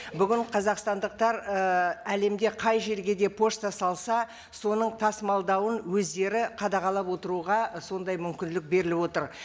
бүгін қазақстандықтар і әлемде қай жерге де пошта салса соның тасымалдауын өздері қадағалап отыруға сондай мүмкіндік беріліп отыр